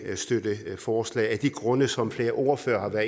støtte forslaget af de grunde som flere ordførere